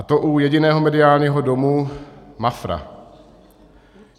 A to u jediného mediálního domu - Mafra.